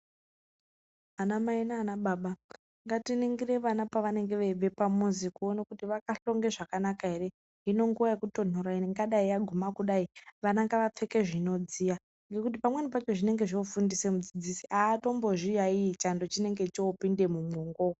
Ana mai nana baba ngatiningire vana pavanenge veibva pamuzi kuona kuti vakahlonge zvakanaka here inonguva yekutonhora inova yaguma kudai vana ngavapfeke zvinodziya nekuti pamweni panenge pofundisa mudzidzisi atombozviyayiyi chando chinenge chopinda mumwongo.